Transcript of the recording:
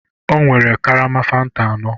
Ọ nwere karama fanta anọ